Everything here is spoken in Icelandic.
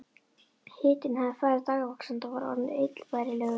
Hitinn hafði farið dagvaxandi og var orðinn illbærilegur.